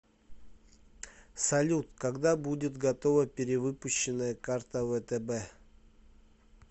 салют когда будет готова перевыпущенная карта втб